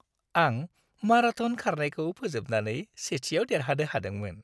आं माराथन खारनायखौ फोजोबनानै सेथिआव देरहानो हादोंमोन।